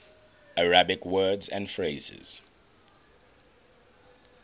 arabic words and phrases